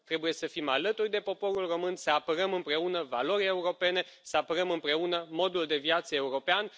Trebuie să fim alături de poporul român, să apărăm împreună valorile europene, să apărăm împreună modul de viață european.